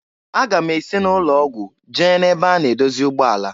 Aga m esi n'ụlọ ọgwụ jee na ebe a na-edozi ụgbọ ala.